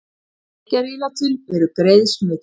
Drykkjarílátin eru greið smitleið